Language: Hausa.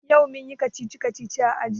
Yau mun yi kacici-kacici a aji.